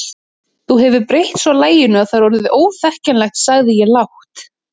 Þú hefur breytt svo laginu að það er orðið óþekkjanlegt sagði ég lágt.